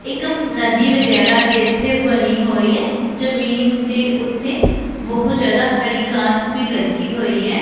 ਇੱਕ ਨਦੀ ਵਗੈਰਾ ਭੀ ਇੱਥੇ ਬਣੀ ਹੋਈ ਐ ਜਮੀਨ ਦੇ ਉੱਤੇ ਬਹੁਤ ਜਿਆਦਾ ਹਰੀ ਘਾਸ ਵੀ ਲੱਗੀ ਹੋਈ ਐ।